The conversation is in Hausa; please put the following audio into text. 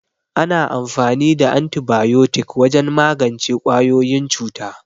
Ana amfani da Antibayotik wajen magance ƙwayoyin cuta.